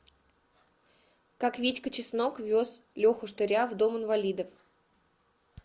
как витька чеснок вез леху штыря в дом инвалидов